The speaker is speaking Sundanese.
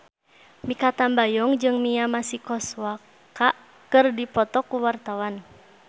Mikha Tambayong jeung Mia Masikowska keur dipoto ku wartawan